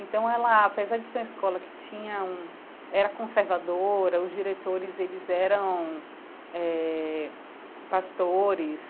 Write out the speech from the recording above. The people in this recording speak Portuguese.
Então ela, apesar de ser uma escola que tinha um era conservadora, os diretores eles eram eh pastores,